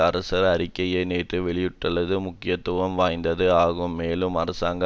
அரசர் அறிக்கையை நேற்று வெளியிட்டுள்ளது முக்கியத்துவம் வாய்ந்தது ஆகும் மேலும் அரசாங்க